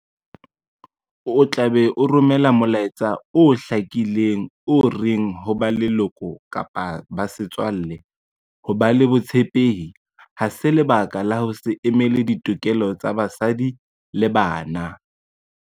O tla be o romela molaetsa o hlakileng o reng ho ba leloko, setswalle kapa ho ba le botshepehi ha se lebaka la ho se emele ditokelo tsa basadi le bana.